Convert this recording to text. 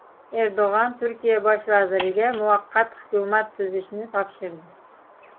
Erdo‘g‘on Turkiya bosh vaziriga muvaqqat hukumat tuzishni topshirdi.